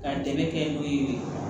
Ka dɛmɛ kɛ n'o ye